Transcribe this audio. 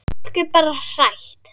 Fólk er bara hrætt.